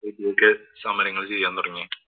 സമരങ്ങള്‍ ചെയ്യാന്‍ തുടങ്ങി.